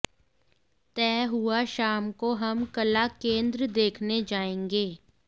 तय हुआ शाम को हम कला केंद्र देखने जायेंगे